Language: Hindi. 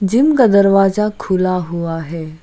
जिम का दरवाजा खुला हुआ है।